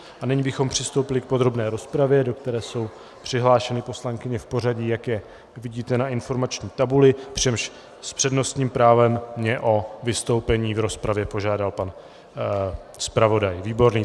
A nyní bychom přistoupili k podrobné rozpravě, do které jsou přihlášeny poslankyně v pořadí, jak je vidíte na informační tabuli, přičemž s přednostním právem mě o vystoupení v rozpravě požádal pan zpravodaj Výborný.